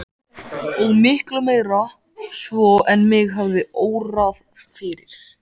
Og miklu meira svo en mig hafði órað fyrir.